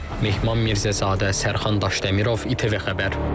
Mehman Mirzəzadə, Sərxan Daşdəmirov, İTV Xəbər.